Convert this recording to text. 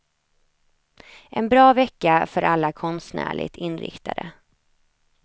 En bra vecka för alla konstnärligt inriktade.